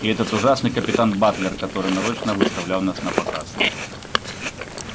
и этот ужасный капитан батлер который нарочно выставлял вас напоказ